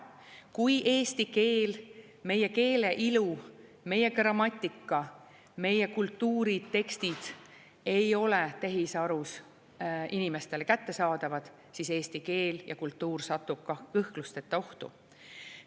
Kui eesti keel, meie keele ilu, meie grammatika, meie kultuuritekstid ei ole tehisarus inimestele kättesaadavad, siis eesti keel ja kultuur satub kõhklusteta ohtu.